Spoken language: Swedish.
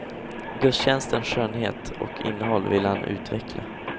Gudstjänstens skönhet och innehåll ville han utveckla.